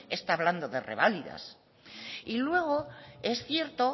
está hablando de reválidas y luego es cierto